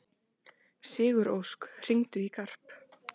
Sigurósk, hringdu í Garp.